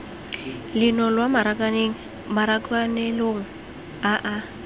leno lwa marakanelong a a